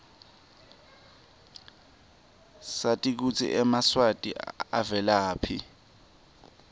sati kutsi emaswati avelaphi